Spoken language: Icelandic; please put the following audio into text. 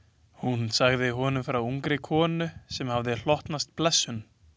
Hún sagði honum frá ungri konu sem hafði hlotnast blessun.